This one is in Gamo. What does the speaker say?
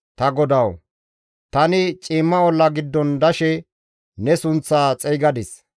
Ta GODAWU! Tani ciimma olla giddon dashe ne sunththa xeygadis.